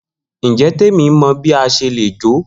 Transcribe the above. Njẹ Temi mọ bi a ṣe le jo?